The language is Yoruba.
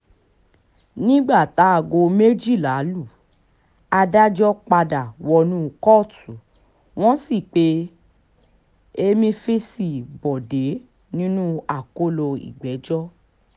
nígbà táago méjìlá lu adájọ́ padà wọnú kóòtù wọ́n sì pe emefíse bọ́ọ̀dẹ̀ sínú akóló ìgbẹ́jọ́